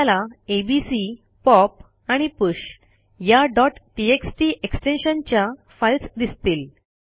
आपल्याला ABC pop and push या txt extension च्या फाईल्स दिसतील